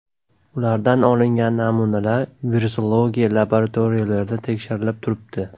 Ulardan olingan namunalar Virusologiya laboratoriyalarida tekshirilib turibdi.